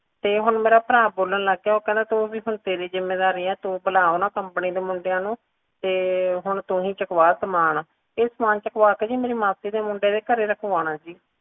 ਤੇ ਹੁਣ ਮੇਰਾ ਭਰਾ ਬੋਲਣ ਲੱਗ ਗਿਆ ਕਿ ਹੁਣ ਤੇਰੀ ਜਿੰਮੇਵਾਰੀ ਹੈ ਤੂੰ ਬਲਾ ਓਹਨਾ company ਦੇ ਮੁੰਡਿਆਂ ਨੂੰ ਤੇ ਹੁਣ ਤੂੰ ਹੀ ਚਕਵਾ ਸਾਮਾਨ ਇਹ ਸਾਮਾਨ ਚਕਵਾ ਕੇ ਜੀ ਮੇਰੀ ਮਾਸੀ ਦ ਮੁੰਡਿਆਂ ਦੇ ਘਰੇ ਰੱਖਵਣਾ ਜੀ